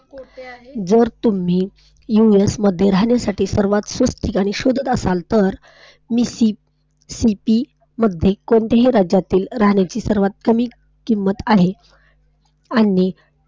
जर तुम्ही US मध्ये राहण्यासाठी सर्वात स्वस्त जागा शोधात असाल तर मिसिसिपी मध्ये कोन्टिया राज्यातील राहण्याची सर्वात कमी किंमत आहे आणि,